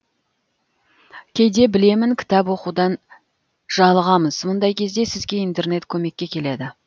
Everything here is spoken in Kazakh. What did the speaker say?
кейде білемін кітап оқудан жалығамыз мұндай кезде сізге интернет көмекке келеді